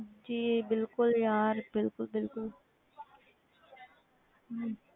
ਜੀ ਬਿਲਕੁਲ ਯਾਰ ਬਿਲਕੁਲ ਬਿਲਕੁਲ ਹਮ